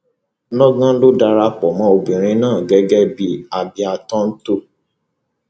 lọgán ló darapọ mọ obìnrin náà gẹgẹ bíi abiam tòn to